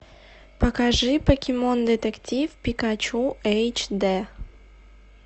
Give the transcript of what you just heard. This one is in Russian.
покажи покемон детектив пикачу эйч дэ